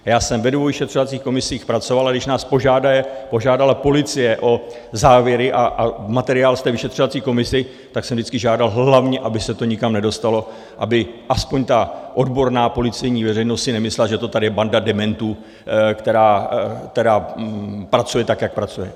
Já jsem ve dvou vyšetřovacích komisích pracoval, a když nás požádala policie o závěry a materiál z té vyšetřovací komise, tak jsem vždycky žádal hlavně, aby se to nikam nedostalo, aby aspoň ta odborná policejní veřejnost si nemyslela, že to tady je banda dementů, která pracuje tak, jak pracuje.